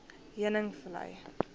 heuningvlei